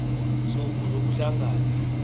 ntsuku zoku hlangana